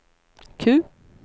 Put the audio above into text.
Q